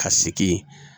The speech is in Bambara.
Ka sigi